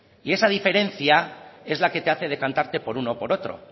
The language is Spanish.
y esa diferencia es la que te hace decantarte por uno o por otro